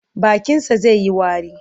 Bakinsa zai yi wari.